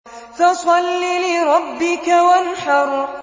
فَصَلِّ لِرَبِّكَ وَانْحَرْ